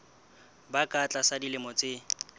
ba ka tlasa dilemo tse